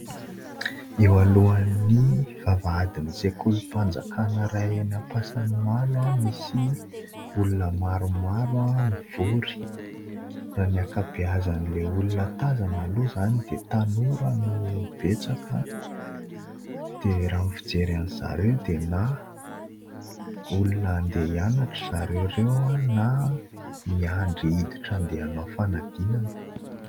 Eo alohan'ny vavahadin'ny sekolim-panjakana iray eny Ampasanimalo misy olona maromaro mivory. Raha ny ankabeazan'ilay olona tazana aloha izany dia tanora no betsaka dia raha ny fijery andry zareo dia : na olona handeha hianatra zareo ireo na miandry hiditra handeha hanao fanadinana.